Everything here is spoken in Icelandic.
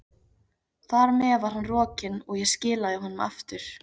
Þar með var hann rokinn, og ég skilaði honum aftur.